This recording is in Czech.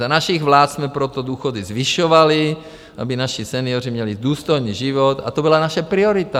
Za našich vlád jsme proto důchody zvyšovali, aby naši senioři měli důstojný život, a to byla naše priorita.